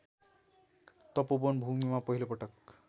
तपोवन भूमिमा पहिलोपटक